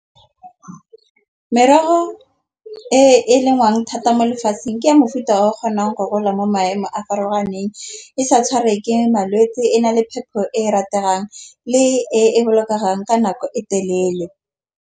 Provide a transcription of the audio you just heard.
Merogo e e lengwang thata mo lefatsheng ke ya mofuta a o kgonang go gola mo maemo a a farologaneng. E sa tshware ke malwetse e na le phepho e e rategang le e e bolokang ka nako e telele.